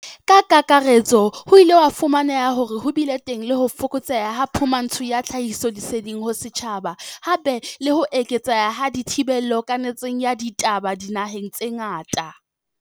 Ka kakaretso, ho ile ha fu maneha hore ho bile teng ho fokotseha ha phumantsho ya tlhahisoleseding ho setjhaba, hape le ho eketseha ha dithi bello kanetsong ya ditaba dinaheng tse ngata.